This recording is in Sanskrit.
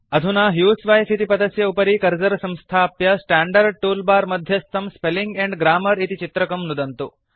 अधुना ह्यूसवाइफ इति पदस्य उपरि कर्सर् संस्थाप्य स्टांडर्ड टूलबार मध्यस्थं स्पेलिंग एण्ड ग्राम्मर इति चित्रकं नुदन्तु